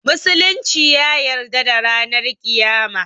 Musulunci ya yarda da ranan kiyama